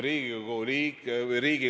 Eesti on armas, Eesti inimesed on armsad.